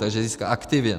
Takže získá aktiva.